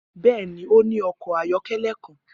Bẹẹni, o ni ọkọ ayọkẹlẹ kan.